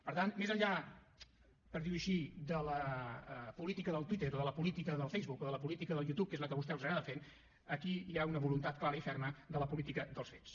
per tant més enllà per dir ho així de la política del twitter o de la política del facebook o de la política del youtube que és la que a vostès els agrada fer aquí hi ha una voluntat clara i ferma de la política dels fets